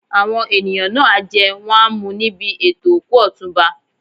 Àwọn ènìyàn náà á jẹ́ wọ́n á mu níbi ètò òkú Ọ̀túnba.